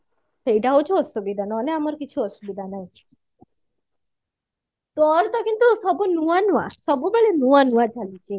ସେଇଟା ହଉଛି ଅସୁବିଧା ନହଲେ ଆମର କିଛି ଆସୁବିଧା ନାହିଁ ତୋର ତ କିନ୍ତୁ ନୂଆ ନୂଆ ସବୁବେଳେ ନୂଆ ନୂଆ ଚାଲିଛି